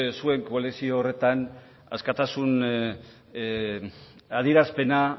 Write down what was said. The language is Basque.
zuen koalizio horretan askatasun adierazpena